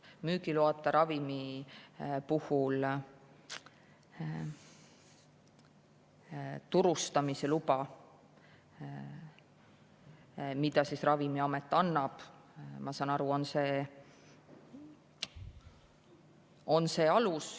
Müügiloata ravimi puhul turustamisluba, mille Ravimiamet annab, ma saan aru, on see alus.